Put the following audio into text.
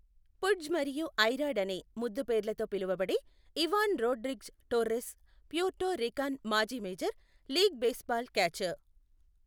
పుడ్జ్' మరియు 'I Rod' అనే ముద్దుపేర్లతో పిలవబడే Ivan Rodriguez Torres, Puerto Rican మాజీ మేజర్ లీగ్ బేస్బాల్ క్యాచర్.